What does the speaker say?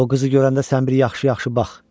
O qızı görəndə sən bir yaxşı-yaxşı bax.